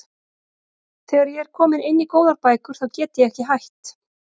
Þegar ég er komin inn í góðar bækur þá get ég ekki hætt.